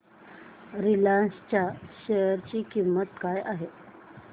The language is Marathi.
रिलायन्स च्या शेअर ची किंमत काय आहे